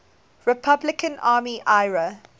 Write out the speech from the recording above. republican army ira